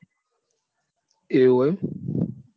એવું છે એમ